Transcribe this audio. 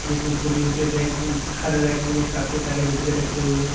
इसमें छोटी छोटी रेक्स हैं हर रेक्स में काफी सारे डिब्बे रखे हुए हैं।